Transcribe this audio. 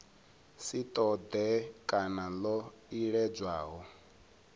si ṱoḓee kana ḽo iledzwaho